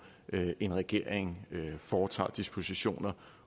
en regering foretager dispositioner